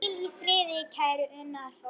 Hvíl í friði, kæri Unnar.